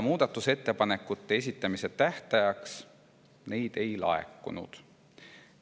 Muudatusettepanekute esitamise tähtajaks neid ei laekunud.